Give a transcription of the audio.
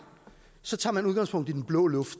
så tager man udgangspunkt i den blå luft